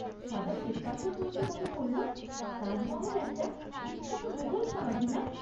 সাদা শ্বেতপাথর বলতে মনে পড়ল, তাজমহল একটা বিখ্যাত মুঘল সমাধি না?